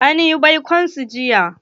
An yi baikon su jiya.